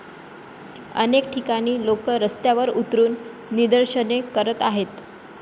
अनेक ठिकाणी लोक रस्त्यावर उतरुन निदर्शने करत आहेत.